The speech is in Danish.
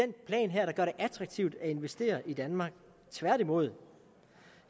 attraktivt at investere i danmark tværtimod